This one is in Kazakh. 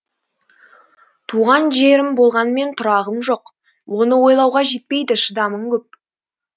туған жерім болғанмен тұрағым жоқ оны ойлауға жетпейді шыдамым көп